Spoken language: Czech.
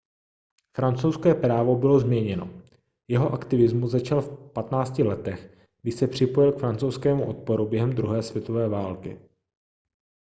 francouzské právo bylo změněno jeho aktivismus začal v 15 letech když se připojil k francouzskému odporu během druhé světové války